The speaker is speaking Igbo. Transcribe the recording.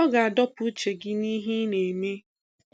Ọ ga-adọpụ uche gị n'ihe ị na-eme.